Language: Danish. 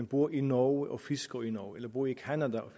bor i norge og fisker i norge eller bor i canada og